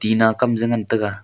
ena kam je ngan taiga.